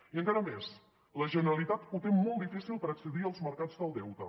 i encara més la generalitat ho té molt difícil per accedir als mercats del deute